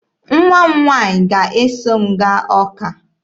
Nwa m nwaanyị ga-eso m gaa Ọka